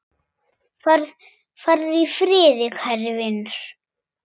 Farðu í friði, kæri vinur.